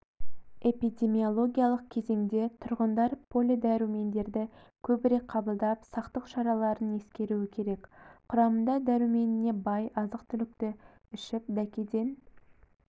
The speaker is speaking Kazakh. эпидемиологиялық кезеңде тұрғындар полидәрумендерді көбірек қабылдап сақтық шараларын ескеруі керек құрамында дәруменіне бай азық-түлікті ішіп дәкеден